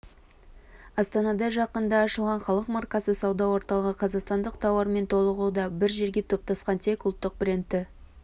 астанада жақында ашылған халық маркасы сауда орталығы қазақстандық тауармен толығуда бір жерге топтасқан тек ұлттық брендті